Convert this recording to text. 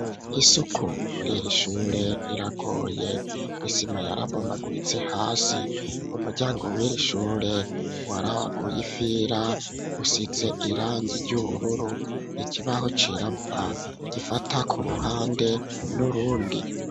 Isuku murir'ishure iragoye isima yarabomaguritse hasi umuryango w'irishure warabaguye ifira usize irangi ry'ubururu ikibaho cirabura gifata ku ruhande n'urundi.